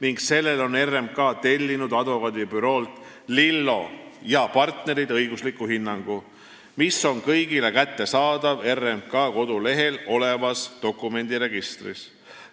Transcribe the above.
RMK on tellinud sellele advokaadibüroolt Lillo & Partnerid õigusliku hinnangu, mis on kõigile kättesaadav RMK kodulehel olevas dokumendiregistris.